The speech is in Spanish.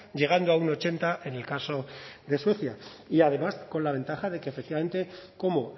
llegando a un ochenta en el caso de suecia y además con la ventaja de que efectivamente como